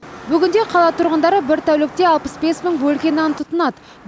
бүгінде қала тұрғындары бір тәулікте алпыс бес мың бөлке нан тұтынады